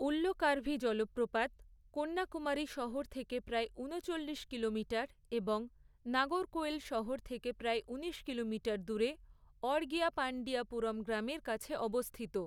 উল্লকার্ভি জলপ্রপাত, কন্যাকুমারী শহর থেকে প্রায় ঊনচল্লিশ কিলোমিটার, এবং নাগরকোয়েল শহর থেকে প্রায় ঊনিশ কিলোমিটার দূরে, অড়গিয়াপাণ্ডিয়াপুরম গ্রামের কাছে অবস্থিত।